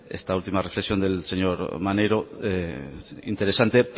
esta última reflexión del señor maneiro interesante